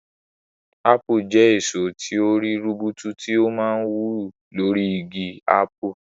Ápù jẹ́ èso tí ó rí rubutu tí ó máa ń wù lórí igi ápù.